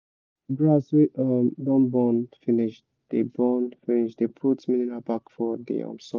grass wey don burn finish dey burn finish dey put minerial back for the soil